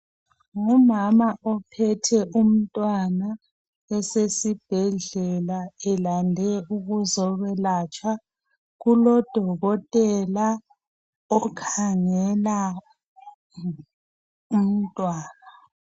Ngumama ophethe umntwana esesibhedlela elande ukuzokwelatshwa kulodokotela okhangela umntwana.